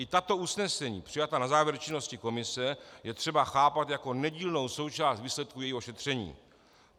I tato usnesení, přijatá na závěr činnosti komise, je třeba chápat jako nedílnou součást výsledku jejího šetření.